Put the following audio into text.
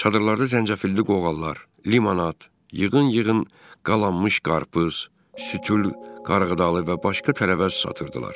Çadırlarda zəncəfilli qoğallar, limonad, yığın-yığın qalanmış qarpız, sütül qarğıdalı və başqa tərəvəz satırdılar.